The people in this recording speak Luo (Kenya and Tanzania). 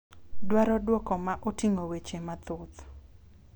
Dwaro duoko ma oting'o weche mathoth.